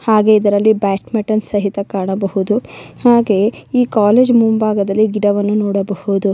ಹಾಗೆ ಇದರಲ್ಲಿ badminton ಸಹಿತ ಕಾಣಬಹುದು ಹಾಗೆಯೆ ಈ ಕಾಲೇಜು ಮುಂಬಾಗದಲ್ಲಿ ಗಿಡವನ್ನು ನೋಡಬಹುದು.